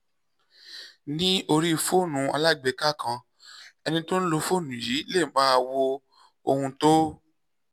ní orí fóònù alágbèéká kan ẹni tó ń lo fóònù yìí lè máa wo ohun tó